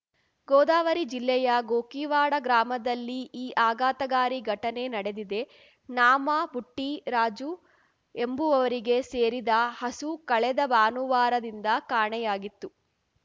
ಗೋದಾವರಿ ಜಿಲ್ಲೆಯ ಗೋಕಿವಾಡ ಗ್ರಾಮದಲ್ಲಿ ಈ ಆಘಾತಗಾರಿ ಘಟನೆ ನಡೆದಿದೆ ನಾಮ ಬುಟ್ಚಿ ರಾಜು ಎಂಬುವವರಿಗೆ ಸೇರಿದ ಹಸು ಕಳೆದ ಭಾನುವಾರದಿಂದ ಕಾಣೆಯಾಗಿತ್ತು